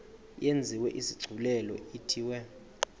yenziwe isigculelo ithiwe